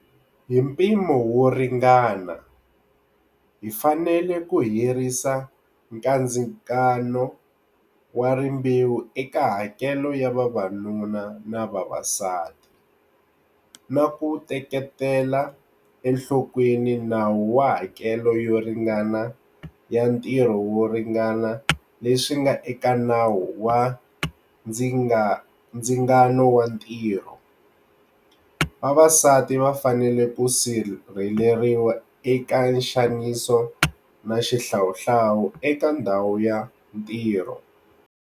Hi mpimo wo ringana, hi fanele ku herisa kandzingano wa rimbewu eka hakelo ya vavanuna na vavasati, na ku teketela enhlokweni nawu wa hakelo yo ringana ya ntirho wo ringana leswi nga eka Nawu wa Ndzingano wa Ntirho. Vavasati va fanele ku sirheleriwa eka nxaniso na xihlawuhlawu eka ndhawu ya ntirho.